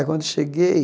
Aí, quando cheguei,